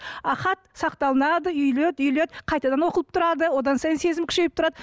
а хат сақталынады үйіледі үйіледі қайтадан оқылып тұрады одан сайын сезім күшейіп тұрады